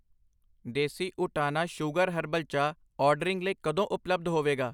ਦੇਸੀ ਊਟਾਨਾ sugar herbal ਚਾਹ ordering ਲਈ ਕਦੋਂ ਉਪਲੱਬਧ ਹੋਵੇਗਾ?